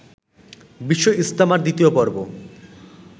বিশ্ব ইজতেমার দ্বিতীয় পর্ব